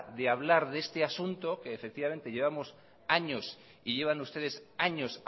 de hablar de este asunto que llevamos años y llevan ustedes años